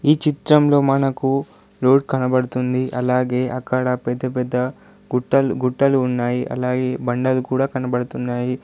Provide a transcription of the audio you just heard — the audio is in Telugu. ఈ చిత్రంలో మనకు రోడ్ కనబడుతుంది అలాగే అక్కడ పెద్ద పెద్ద గుట్టలు గుట్టలు ఉన్నాయి అలాగే బండలు కూడా కనబడుతున్నాయి.